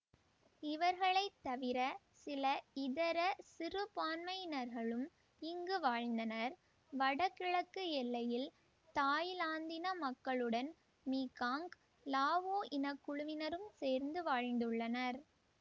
இவர்களை தவிர சில இதர சிறுபான்மையினர்களும் இங்கு வாழ்ந்தனர் வடகிழக்கு எல்லையில் தாய்லாந்தின மக்களுடன் மீகாங்க் லாவோ இன குழுவினரும் சேர்ந்து வாழ்ந்துள்ளனர்